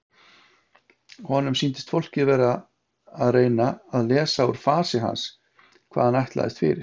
Honum sýndist fólkið vera að reyna að lesa úr fasi hans hvað hann ætlaðist fyrir.